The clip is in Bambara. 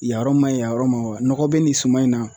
Yan yɔrɔ man ɲi yan yɔrɔ man ɲi wa nɔgɔ bɛ nin suman in na